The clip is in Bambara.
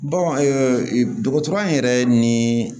dɔgɔtɔrɔ in yɛrɛ ni